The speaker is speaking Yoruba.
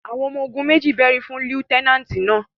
àwọn ọmọ-ogun meji bẹri fun Lutenanti náa